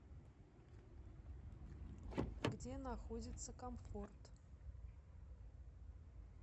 где находится комфорт